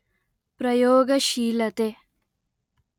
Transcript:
ಪ್ರಯೋಗಶೀಲತೆ